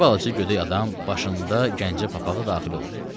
Bir balaca gödək adam başında Gəncə papağı daxil oldu.